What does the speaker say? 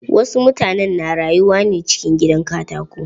Wasu mutanen na rayuwa ne cikin gidan katako.